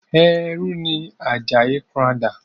ẹrú ni Àjàyí Crowther.